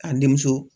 K'an denmuso